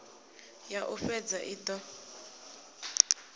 ya u fhedza i do